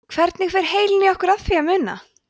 hvernig fer heilinn í okkur að því að muna